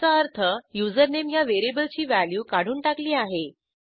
ह्याचा अर्थ युझरनेम ह्या व्हेरिएबलची व्हॅल्यू काढून टाकली आहे